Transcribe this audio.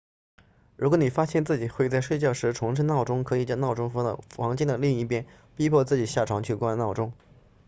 如果你发现自己会在睡觉时重置闹钟可以将闹钟放到房间的另一边逼迫自己下床去关闹钟